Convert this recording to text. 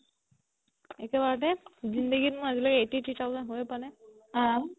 একেবাৰতে zindegi ত মোৰ আজিলৈকে মোৰ eighty three thousand হয়ে পোৱা নাই